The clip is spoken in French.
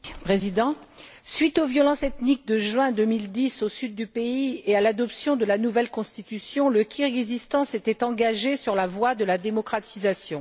Monsieur le Président, suite aux violences ethniques de juin 2010 au sud du pays et à l'adoption de la nouvelle Constitution, le Kirghizstan s'était engagé sur la voie de la démocratisation.